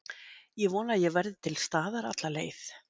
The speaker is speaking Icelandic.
Ég vona að ég verði til staðar alla leið.